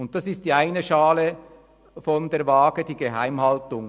Und das ist die eine Schale der Waage, die Geheimhaltung.